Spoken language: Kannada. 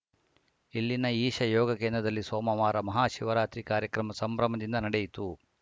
ಇಲ್ಲಿನ ಈಶ ಯೋಗ ಕೇಂದ್ರದಲ್ಲಿ ಸೋಮವಾರ ಮಹಾಶಿವರಾತ್ರಿ ಕಾರ್ಯಕ್ರಮ ಸಂಭ್ರಮದಿಂದ ನಡೆಯಿತು